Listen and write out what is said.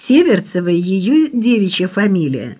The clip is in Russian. северцева её девичья фамилия